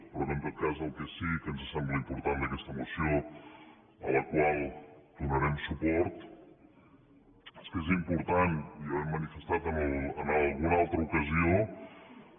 però en tot cas el que sí que ens sembla important d’aquesta moció a la qual donarem suport és que és important i ja ho hem manifestat en alguna altra ocasió